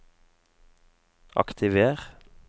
aktiver